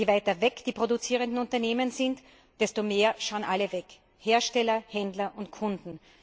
Je weiter weg die produzierenden Unternehmen sind, desto mehr schauen alle weg, Hersteller, Händler und Kunden.